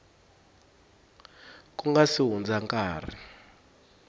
ku nga si hundza nkarhi